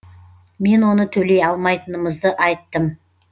мен оны төлей алмайтынымызды айттым